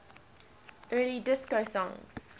early disco songs